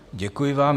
Děkuji vám.